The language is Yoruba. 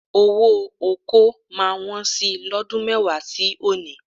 Owó ọkọ́ máa wọn sí i lọ́dún mẹ́wàá sí òní